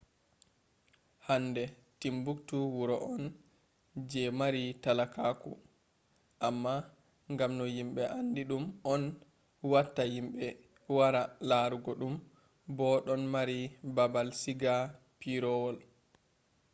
hande timbuktu wuro on je mari talakaku amma ngam no yimbe aandi ɗum on watta yimbe wara larugo ɗum bo ɗon mari baabal siga pireewol